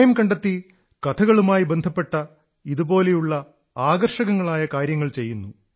സമയം കണ്ടെത്തി കഥകളുമായി ബന്ധപ്പെട്ട ഇതുപോലുള്ള ആകർഷകങ്ങളായ കാര്യങ്ങൾ ചെയ്യുന്നു